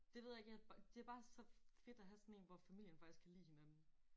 Det ved jeg ikke jeg bare det bare så fedt at have sådan en hvor familien faktisk kan lide hinanden